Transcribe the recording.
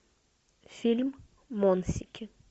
фильм монсики